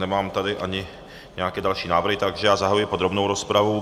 Nemám tady ani nějaké další návrhy, takže já zahajuji podrobnou rozpravu.